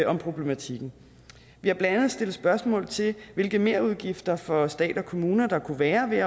om problematikken vi har blandt andet stillet spørgsmål til hvilke merudgifter for stat og kommuner der kunne være ved